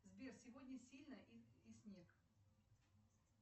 сбер сегодня сильно и снег